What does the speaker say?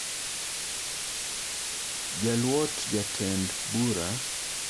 Jaluot jatend bura maduong' e piny Kenya, Philomena Mwilu, omak ka en gi ketho mar ketho chik